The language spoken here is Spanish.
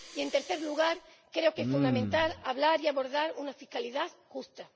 Y, en tercer lugar, creo que es fundamental hablar y abordar una fiscalidad justa.